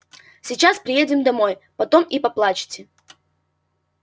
сейчас приедем домой потом и поплачете